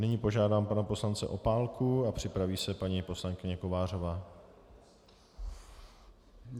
Nyní požádám pana poslance Opálku a připraví se paní poslankyně Kovářová.